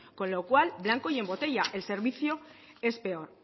con lo cual blanco y en botella el servicio es peor